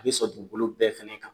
Be sɔn dugukolo bɛɛ fɛnɛ kan